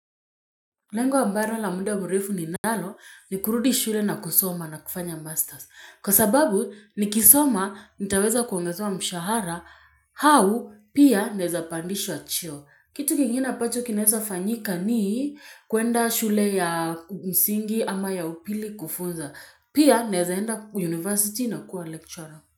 Lengo ambaro la mda wa murefu ninalo ni kurudi shule na kusoma na kufanya masters. Kwa sababu nikisoma nitaweza kuongezewa mshahara, hau pia naeza pandishwa cheo. Kitu kingine apacho kinaeza fanyika ni kuenda shule ya msingi ama ya upili kufunza. Pia naeza enda university na kuwa lecturer.